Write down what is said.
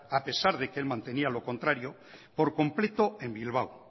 a pesar de que él mantenía lo contrario por completo en bilbao